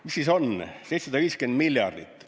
Mis siis on 750 miljardit?